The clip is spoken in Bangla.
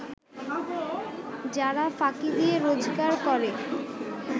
যারা ফাঁকি দিয়ে রোজগার করে